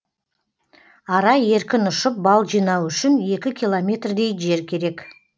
ара еркін ұшып бал жинауы үшін екі километрдей жер керек